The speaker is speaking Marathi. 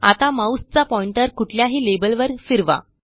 आता माऊसचा पॉइंटर कुठल्याही लेबलवर फिरवा